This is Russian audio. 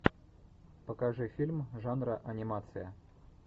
покажи фильм жанра анимация